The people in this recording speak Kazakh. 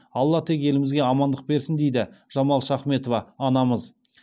алла тек елімізге амандық берсін дейді жамал шахметова анамыз